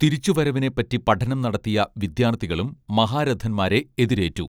തിരിച്ചുവരവിനെ പറ്റി പഠനം നടത്തിയ വിദ്യാർഥികളും മഹാരഥൻമാരെ എതിരേറ്റു